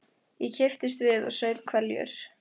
Ég kipptist við og saup hveljur.